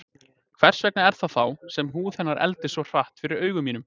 Hvers vegna er það þá sem húð hennar eldist svo hratt fyrir augum mínum?